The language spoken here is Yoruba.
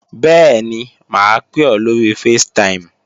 Bẹ́ẹ̀ni, mà á pè ọ́ lóri facetime